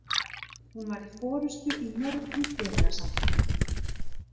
Hún var í forystu í mörgum félagasamtökum.